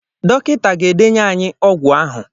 Dọkịta ga-edenye ànyị ọgwụ ahụ.